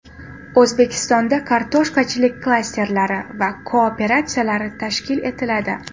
O‘zbekistonda kartoshkachilik klasterlari va kooperatsiyalari tashkil etiladi.